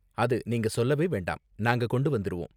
அது நீங்க சொல்லவே வேண்டாம், நாங்க கொண்டு வந்திருவோம்.